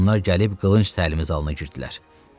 Onlar gəlib qılınc təlimi zalına girdilər.